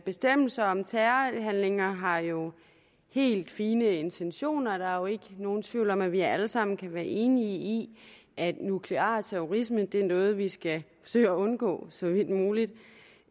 bestemmelse om terrorhandlinger har jo helt fine intentioner der er ikke nogen tvivl om at vi alle sammen kan være enige i at nuklear terrorisme er noget vi skal forsøge at undgå så vidt muligt